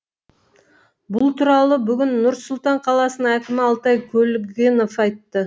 бұл туралы бүгін нұр сұлтан қаласының әкімі алтай көлгінов айтты